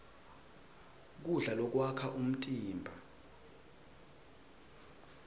kudla lokwakha umtimba